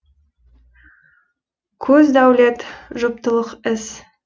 көз дәулет жұптылық іс